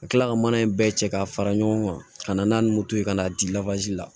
Ka kila ka mana in bɛɛ cɛ ka fara ɲɔgɔn kan ka na n'a ni moto ye ka n'a di la